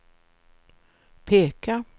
peka